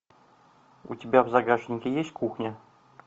у тебя в загашнике есть кухня